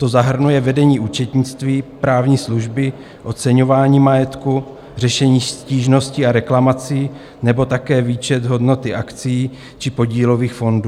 To zahrnuje vedení účetnictví, právní služby, oceňování majetku, řešení stížností a reklamací nebo také výpočet hodnoty akcií či podílových fondů.